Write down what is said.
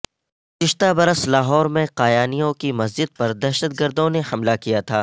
گزشتہ برس لاہور میں قایانیوں کی مسجد پر دہشت گردوں نے حملہ کیا تھا